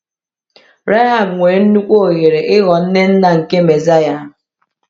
Rahab nwere nnukwu ohere ịghọọ nne nna nke Mesiya.